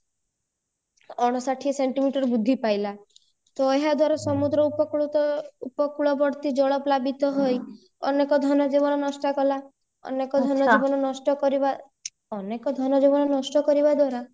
ଅଣଷଠି ସେଣ୍ଟିମିଟର ବୃଦ୍ଧି ପାଇଲା ତ ଏହା ଦ୍ଵାରା ସମୁଦ୍ର ଉପକୂଳ ତ ଉପକୂଳବର୍ତ୍ତୀ ଜଳ ପ୍ଳାବିତ ହୋଇ ଅନେକ ଧନ ଜୀବନ ନଷ୍ଟ କଳା ଅନେକ ଧନ ଜୀବନ ନଷ୍ଟ କରିବା ଅନେକ ଧନ ଜୀବନ ନଷ୍ଟ କରିବା ଦ୍ଵାରା